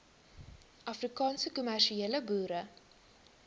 afrikaanse kommersiële boere